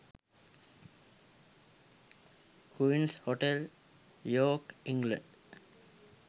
queens hotel york england